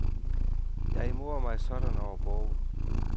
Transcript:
Jeg morer mig sådan over bogen.